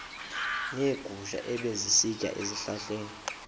neegusha ebezisitya ezihlahleni